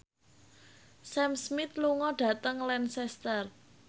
Sam Smith lunga dhateng Lancaster